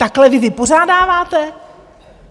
Takhle vy vypořádáváte?